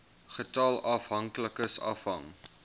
getal afhanklikes afhang